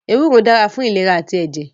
Ewúro dára fún ìlera àti ẹ̀jẹ̀